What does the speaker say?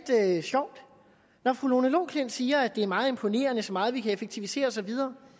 sjovt når fru lone loklindt siger at det er meget imponerende så meget vi kan effektivisere og så videre